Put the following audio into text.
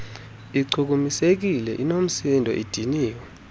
ichukumisekile inoomsindo idiniwe